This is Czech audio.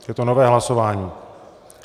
Je to nové hlasování.